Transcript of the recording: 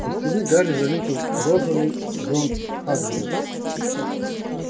из стены гарри заметил розовый зонт хагрида